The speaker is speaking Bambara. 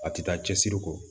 A tɛ taa cɛsiri kɔ